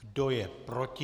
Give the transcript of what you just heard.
Kdo je proti?